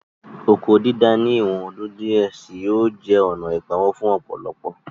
Oko dídá ní ìwọ̀n ọdún díẹ̀ sí yóò jẹ́ ònà ìpawó fún ọ̀pọ̀lọpọ̀